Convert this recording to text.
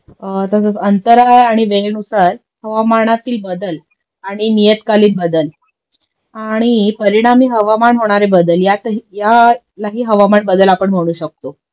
तसाच अंतरा आणि वेळेनुसार हवामानातील बदल आणि नियत्कालिन बदल आणि परिणामी हवामान होणारे बदल यातही यालाही हवामान बदल आपण म्हणू शकतो